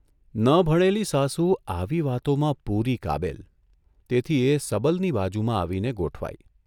ન ભણેલી સાસુ આવી વાતોમાં પુરી કાબેલ તેથી એ સબલની બાજુમાં આવીને ગોઠવાઇ.